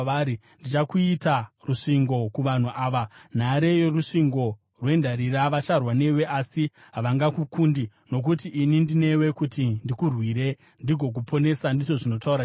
Ndichakuita rusvingo kuvanhu ava, nhare yorusvingo rwendarira; vacharwa newe, asi havangakukundi, nokuti ini ndinewe, kuti ndikurwire ndigokuponesa,” ndizvo zvinotaura Jehovha.